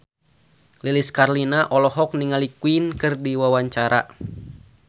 Lilis Karlina olohok ningali Queen keur diwawancara